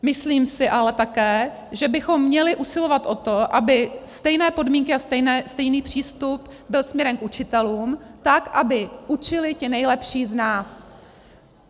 Myslím si ale také, že bychom měli usilovat o to, aby stejné podmínky a stejný přístup byl směrem k učitelům, tak aby učili ti nejlepší z nás.